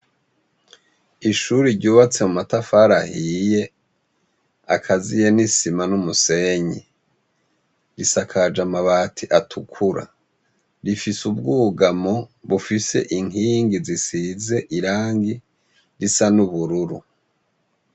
Ishure ryubatse mumatafari ahiye, akaziye n'isima n'umusenyi , risakaje amabati atukura. rifise ubwugamo bufise inkingi zisize irangi risa n'ubururu.